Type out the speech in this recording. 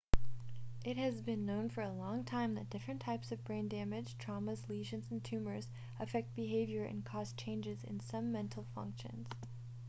it has been known for a long time that different types of brain damage traumas lesions and tumours affect behaviour and cause changes in some mental functions